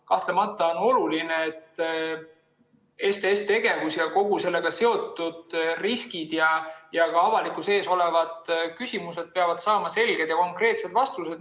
Kahtlemata on oluline, et kui STS‑tegevuse ja sellega seotud riskide kohta on avalikkusel küsimusi, siis need peavad saama selged ja konkreetsed vastused.